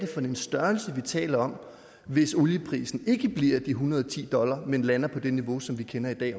for en størrelse vi taler om hvis olieprisen ikke bliver de en hundrede og ti dollar men lander på det niveau som vi kender i